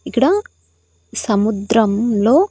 ఇక్కడ సముద్రంలో.